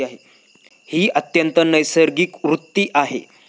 ही अत्यंत नैसर्गिक वृत्ती आहे.